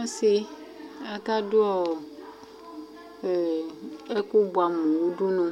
Asɩ aka dʋ ɛkʋ bʋɛamʋ nʋ udunu